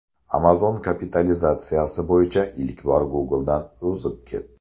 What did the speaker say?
Amazon kapitalizatsiyasi bo‘yicha ilk bor Google’dan o‘zib ketdi.